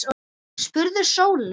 spurði Sóley.